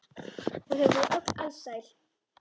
Og þau voru öll alsæl.